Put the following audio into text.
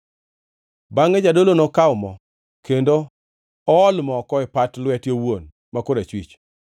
Bangʼe jadolo nokaw mo, kendo ool moko e pat lwete owuon ma koracham,